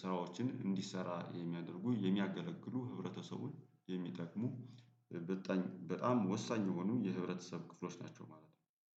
ስራዎችን እንዲሰራ የሚያደርጉ የሚያገለግሉ ህብረተሰቡን የሚጠቅሙ። በጣም ወሳኝ የሆኑ የህብረተሰብ ክፍሎች ናቸው ማለት ነው